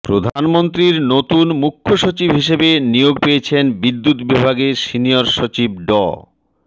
প্রধানমন্ত্রীর নতুন মুখ্য সচিব হিসেবে নিয়োগ পেয়েছেন বিদ্যুৎ বিভাগের সিনিয়র সচিব ড